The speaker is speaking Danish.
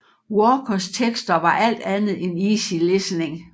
Walkers tekster var alt andet end easy listening